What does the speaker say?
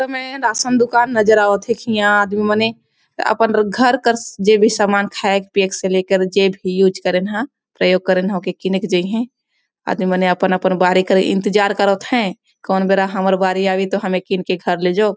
में राशन दुकान नजर आवत है कि यहाँ आदमी मने आपन घर कर जेभी सामान खाये -पियेक से लेकर जे भी यूज करेन है प्रयोग करन है ओकर किने के जईहए आदमी मने अपन -अपन बारी के इंतजार करथ है कौन बेरा हमर बारी आवे तो हम किन के घर ले जोब ।